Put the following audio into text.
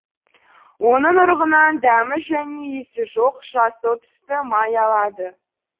оның ұрығынан дәмі және иісі жоқ жасыл түсті май алады